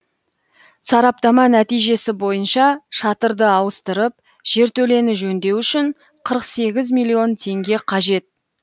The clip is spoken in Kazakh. сараптама нәтижесі бойынша шатырды ауыстырып жертөлені жөндеу үшін қырық сегіз миллион теңге қажет